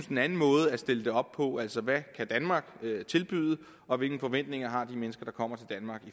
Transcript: den anden måde at stille det op på altså hvad kan danmark tilbyde og hvilke forventninger har de mennesker der kommer til danmark